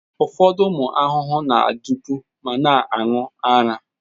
Ụfọdụ ụmụ ahụhụ na-adụpu ma na-aṅụ ara.